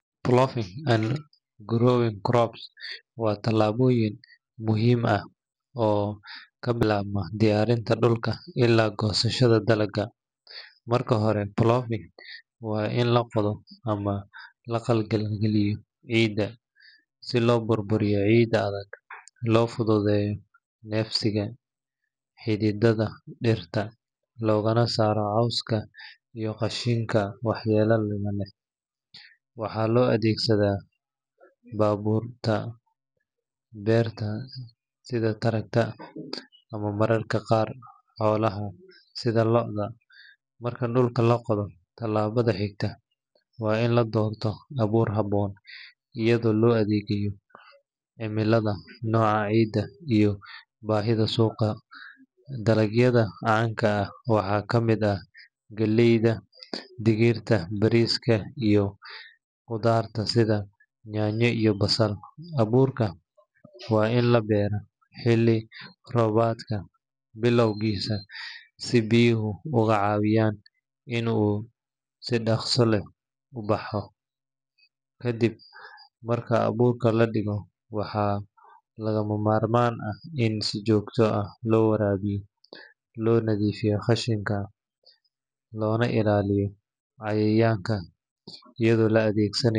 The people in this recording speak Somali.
Ploughing and growing crops waa tallaabooyin muhiim ah oo ka bilaabma diyaarinta dhulka ilaa goosashada dalagga. Marka hore, ploughing waa in la qodo ama la qalqal galiyo ciidda si loo burburiyo ciidda adag, loo fududeeyo neefsiga xididdada dhirta, loogana saaro cawska iyo xashiishka waxyeellada leh. Waxaa loo adeegsadaa baabuurta beerta sida tractor ama mararka qaar xoolaha sida lo’da. Marka dhulku la qodo, tallaabada xigta waa in la doorto abuur habboon iyadoo loo eegayo cimilada, nooca ciidda, iyo baahida suuqa. Dalagyada caanka ah waxaa ka mid ah galleyda, digirta, bariiska, iyo qudaarta sida yaanyo iyo basal. Abuurka waa in la beeraa xilli roobaadka bilowgiisa si biyuhu uga caawiyaan in uu si dhaqso leh u baxo. Ka dib marka abuurka la dhigo, waxaa lagama maarmaan ah in si joogto ah loo waraabiyo, loo nadiifiyo xashiishka, loona ilaaliyo cayayaanka iyadoo la adeegsana.